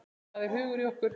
Það er hugur í okkur.